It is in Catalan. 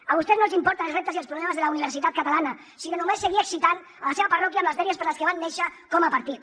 a vostès no els importen els reptes i els problemes de la universitat catalana sinó només seguir excitant la seva parròquia amb les dèries per les que van néixer com a partit